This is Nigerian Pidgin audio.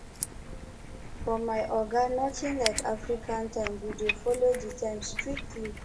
for my oga notin like african time we dey folo di time strictly